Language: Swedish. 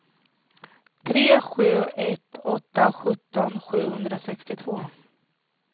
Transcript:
tre sju ett åtta sjutton sjuhundrasextiotvå